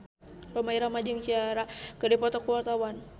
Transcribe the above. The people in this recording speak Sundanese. Rhoma Irama jeung Ciara keur dipoto ku wartawan